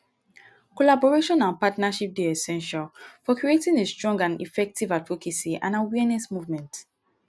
collaboration and partnership dey essential for creating a strong and effective advocacy and awareness movement.